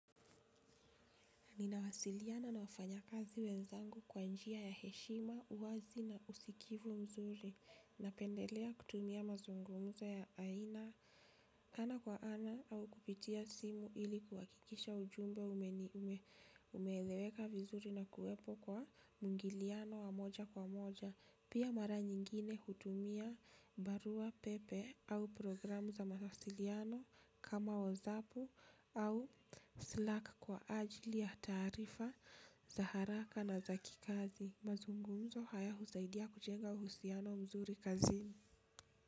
Ninawasiliana na wafanya kazi wenzangu kwa njia ya heshima, uwazi na usikivu mzuri, na pendelea kutumia mazungumzo ya aina, ana kwa ana au kupitia simu ili kuhakikisha ujumbe umeeleweka vizuri na kuwepo kwa mwingiliano wa moja kwa moja. Pia mara nyingine hutumia barua pepe au programu za mawasiliano kama wozapu au slack kwa ajili ya taarifa, za haraka na za kikazi. Mazungumzo haya husaidia kujenga uhusiano mzuri kazini.